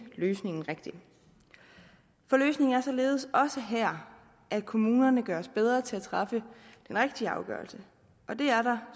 løsningen rigtig løsningen er således også her at kommunerne skal gøres bedre til at træffe den rigtige afgørelse men det er der